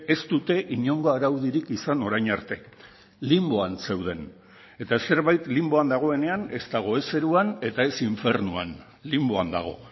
ez dute inongo araudirik izan orain arte linboan zeuden eta zerbait linboan dagoenean ez dago ez zeruan eta ez infernuan linboan dago